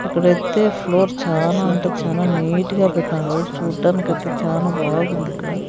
ఇక్కడ అయితే ఫ్లోర్ చానా అంటే చానా నీట్ గా పెట్టినారు చూడటానికి అయితే చానా బావుంది ఇక్కడ.